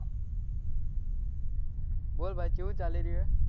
બોલ ભાઈ કેવું ચાલી રહ્યું છે.